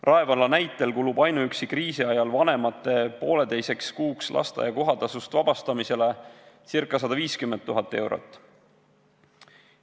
Rae valla näitel kulub kriisi ajal ainuüksi vanemate poolteiseks kuuks lasteaia kohatasust vabastamisele ca 150 000 eurot.